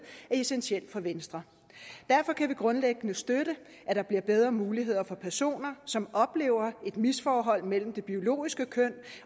essentiel for venstre derfor kan vi grundlæggende støtte at der bliver bedre muligheder for personer som oplever et misforhold mellem det biologiske køn